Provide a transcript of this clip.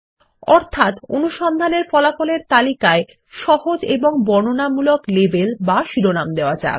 অর্থাত অনুসন্ধানের ফলাফলের তালিকায় সহজ এবং বর্ণনামূলক লেবেল বা শিরোনাম দেওয়া যাক